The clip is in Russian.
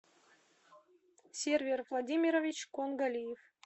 сервер владимирович кунгалиев